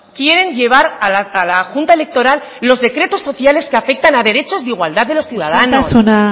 quieren llevar a la junta electoral los decretos sociales que afectan a derechos de igualdad de los ciudadanos isiltasuna